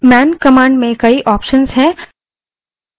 man command में कई options हैं